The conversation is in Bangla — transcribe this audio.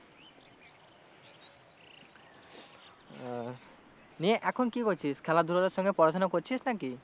ও নিয়ে এখন কি করছিস খেলা ধুলোর সঙ্গে পড়াশোনা করছিস নাকি?